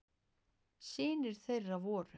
Synir þeirra voru